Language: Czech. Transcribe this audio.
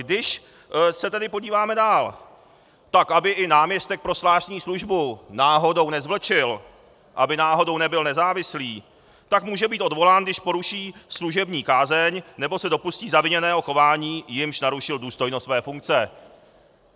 Když se tedy podíváme dál, tak aby i náměstek pro zvláštní službu náhodou nezvlčil, aby náhodou nebyl nezávislý, tak může být odvolán, když poruší služební kázeň nebo se dopustí zaviněného chování, jímž narušil důstojnost své funkce.